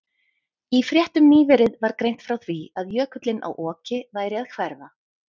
Í fréttum nýverið var greint frá því að jökullinn á Oki væri að hverfa.